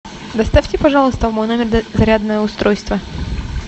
доставьте пожалуйста в мой номер зарядное устройство